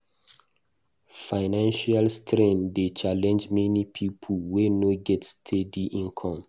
Financial strain dey challenge many people wey no get steady income.